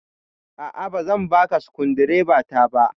A'a, ba zan baka sukundibata ba.